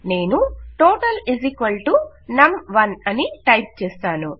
నేను total num 1 అని type చేస్తాను